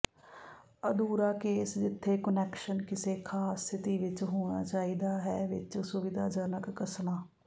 ਅਧੂਰਾ ਕੇਸ ਜਿੱਥੇ ਕੁਨੈਕਸ਼ਨ ਕਿਸੇ ਖਾਸ ਸਥਿਤੀ ਵਿੱਚ ਹੋਣਾ ਚਾਹੀਦਾ ਹੈ ਵਿੱਚ ਸੁਵਿਧਾਜਨਕ ਕੱਸਣਾ